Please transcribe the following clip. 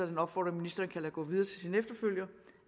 en opfordring ministeren kan lade gå videre til sin efterfølger